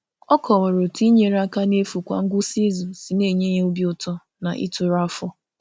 Ọ kọwara otú inyere aka n’efu kwa ngwụsị izu si na-enye ya obi ụtọ na ituru afọ.